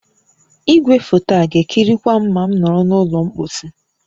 Igwefoto a ga-ekirikwa m ma m nọrọ n'ụlọ mposi?